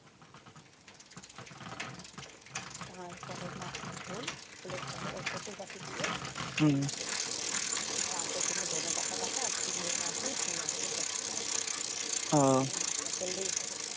তারপরে মাছের ঝোল কচুর গাঠি দিয়ে মাছের ঝোল, আর জন্য ধোনেপাতা বাটা আর চিংড়ি মাছ দিয়ে ঝিঙা দিয়ে তরকারি, এখন ভাত টা করলেই হবে।